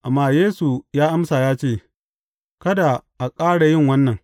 Amma Yesu ya amsa ya ce, Kada a ƙara yin wannan!